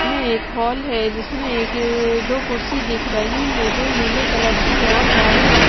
ये एक हॉल है जिसमे एक अ दो कुर्सी दिख रही है जो नीले कलर है और चारो और --